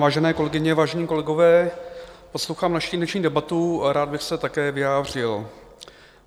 Vážené kolegyně, vážení kolegové, poslouchám naši dnešní debatu a rád bych se také vyjádřil.